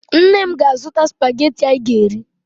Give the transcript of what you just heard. Nne m na-azụta spagetị anyị ga-eri